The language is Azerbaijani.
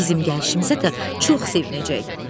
Bizim gəlişimizə də çox sevinəcək, görərsən.